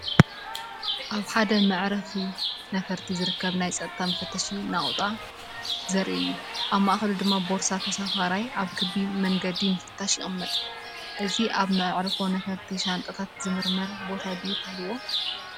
ኣብ ሓደ መዓርፎ ነፈርቲ ዝርከብ ናይ ጸጥታ መፈተሺ ነቑጣ ዘርኢ እዩ። ኣብ ማእከሉ ድማ ቦርሳ ተሳፋራይ ኣብ ክቢ መንገዲ ምፍታሽ ይቕመጥ። እዚ ኣብ መዓርፎ ነፈርቲ ሻንጣታት ዝምርመረሉ ቦታ ድዩ ትብሉ?